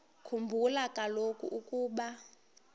khumbula kaloku ukuba